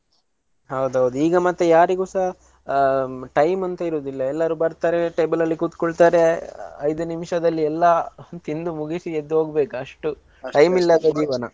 ಹೌದೌದ್ ಈಗ ಮತ್ತೆ ಯಾರಿಗೂಸ ಹ್ಮ್‌ time ಅಂತ ಇರುದಿಲ್ಲ ಎಲ್ಲರು ಬರ್ತಾರೆ table ಅಲ್ಲಿ ಕೂತ್ಕೊಳ್ತಾರೆ ಐದು ನಿಮಿಷದಲ್ಲಿ ಎಲ್ಲಾ ತಿಂದು ಮುಗಿಸಿ ಎದ್ದೋಗ್ಬೇಕಷ್ಟು time ಇಲ್ಲಾ.